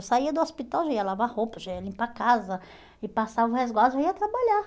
Eu saía do hospital, já ia lavar roupa, já ia limpar a casa e passava o resguardo, já ia trabalhar.